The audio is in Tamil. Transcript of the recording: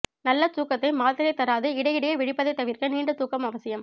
நல்ல தூக்கத்தை மாத்திரை தராது இடையிடையே விழிப்பதை தவிர்க்க நீண்ட தூக்கம் அவசியம்